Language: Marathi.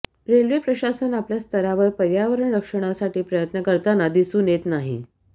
रेल्वे प्रशासन आपल्या स्तरावर पर्यावरण रक्षणासाठी प्रयत्न करताना दिसून येत नाही